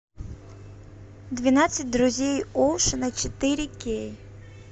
двенадцать друзей оушена четыре кей